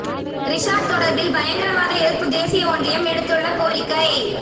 ரிஷாட் தொடர்பில் பயங்கரவாத எதிர்ப்பு தேசிய ஒன்றியம் விடுத்துள்ள கோாிக்கை